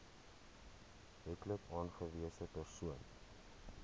wetlik aangewese persoon